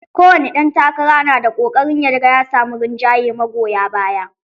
Kowane ɗan takara na ƙoƙarin ya ga ya samu rinjaye magoya baya.